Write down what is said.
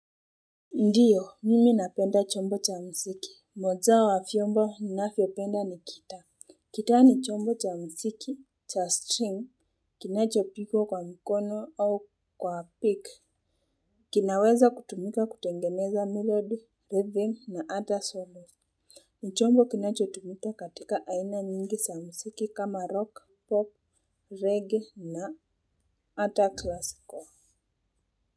Ndiyo, mimi napenda chombo cha msiki. Moza wa fiomba na fiopenda ni kita. Kitaa ni chombo cha msiki, cha string, kinacho pigwa kwa mkono au kwa pick. Kinaweza kutumika kutengeneza melod, living na ata solo. Ni chombo kinacho tumita katika aina nyingi sa msiki kama rock, pop, reggae na ata classical.